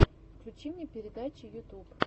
включи мне передачи ютуб